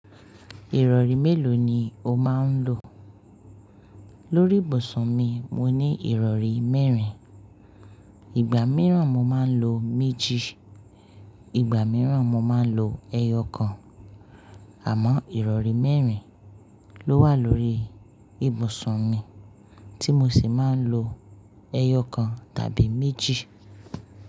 Ìrọ̀rí mélòó ni o máa ń lò? Lórí ìbùsùn mi, mo ní ìrọ̀rí mẹ́rin. Ìgbà mìíràn mo máa ń lo méjì, ìgbà mìíràn mo máa ń lo ẹyọ kan. Àmọ́ ìrọ̀rí mẹ́rin ló wà lórí ìbùsùn mi tí mo sì máa ń lo ẹyọ kan tàbí méjì.